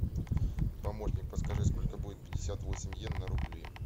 помощник подскажи сколько будет пятьдесят восемь йен на рубли